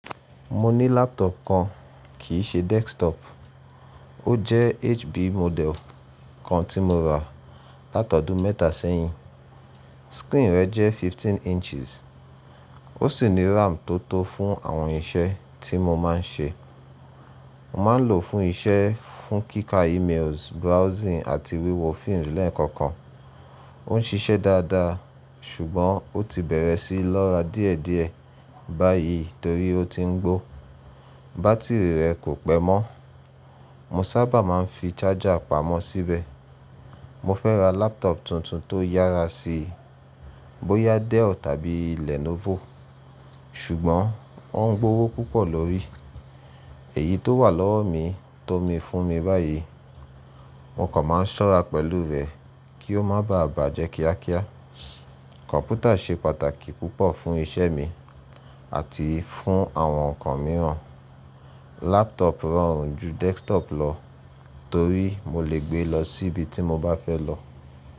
Mo ní laptop kan kì í ṣe desktop. Ó jẹ́ HP model kan tí mo rà látọdún mẹ́ta sẹ́yìn. Screen rẹ̀ jẹ́ 15 inches. Ó sì ní RAM tó tó fún àwọn iṣẹ́ tí mo máa ń ṣe. Mo máa ń lò ó fún iṣẹ́, fún kíkà emails, browsing àti wíwo film lẹ́ẹ̀kọ̀kan. Ó ń ṣiṣẹ́ dáadáa ṣùgbọ́n ó ti bẹ̀rẹ̀ sí lọ́ra díẹ̀díẹ̀ báyìí torí ó ti ń gbó. Bá́tìrì rẹ̀ kò pẹ́ mọ́. Mo sábà máa ń fi charger pamọ́ síbẹ̀. Mo fẹ́ ra laptop tuntun tó yára si, bóyá Dell tàbí Lenovo, ṣùgbọ́n ó ń gbówó púpọ̀ lórí. Èyí tó wà lọ́wọ́ mi tó mi fún mi báyìí. Mo kàn máa ń ṣọ́ra pẹ̀lú rẹ̀ kí ó má bàa bàjẹ́ kíákíá. Kọ̀m̀pútà ṣe pàtàkì púpọ̀ fún iṣẹ́ mi àti fún àwọn ǹkan mìíràn. Laptop rọrùn ju desktop lọ torí mo lè gbé lọ síbi tí mo bá fẹ́ lọ.